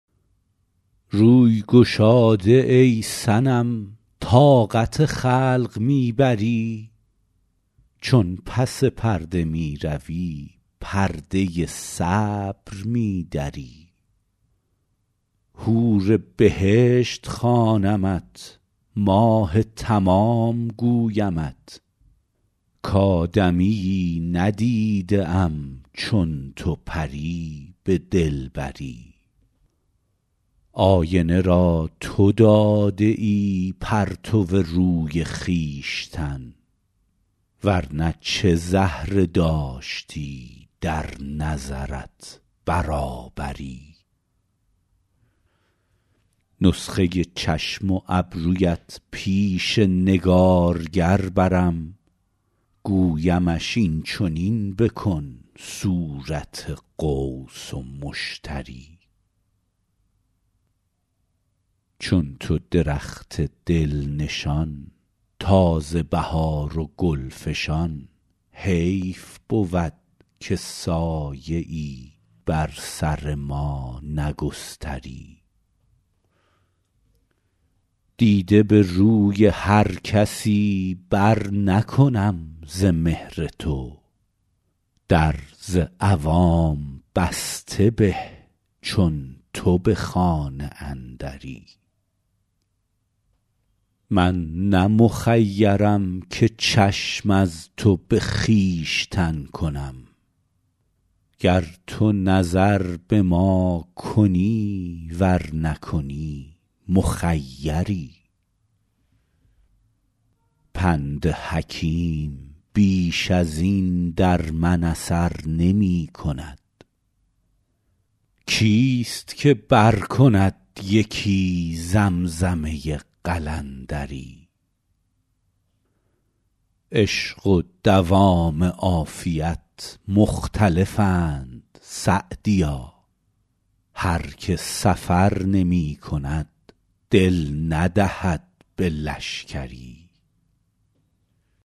روی گشاده ای صنم طاقت خلق می بری چون پس پرده می روی پرده صبر می دری حور بهشت خوانمت ماه تمام گویمت کآدمیی ندیده ام چون تو پری به دلبری آینه را تو داده ای پرتو روی خویشتن ور نه چه زهره داشتی در نظرت برابری نسخه چشم و ابرویت پیش نگارگر برم گویمش این چنین بکن صورت قوس و مشتری چون تو درخت دل نشان تازه بهار و گل فشان حیف بود که سایه ای بر سر ما نگستری دیده به روی هر کسی برنکنم ز مهر تو در ز عوام بسته به چون تو به خانه اندری من نه مخیرم که چشم از تو به خویشتن کنم گر تو نظر به ما کنی ور نکنی مخیری پند حکیم بیش از این در من اثر نمی کند کیست که برکند یکی زمزمه قلندری عشق و دوام عافیت مختلفند سعدیا هر که سفر نمی کند دل ندهد به لشکری